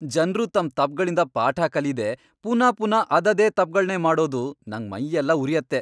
ಜನ್ರು ತಮ್ ತಪ್ಪ್ಗಳಿಂದ ಪಾಠ ಕಲೀದೇ ಪುನಾ ಪುನಾ ಅದದೇ ತಪ್ಗಳ್ನೇ ಮಾಡೋದು ನಂಗ್ ಮೈಯೆಲ್ಲ ಉರ್ಯತ್ತೆ.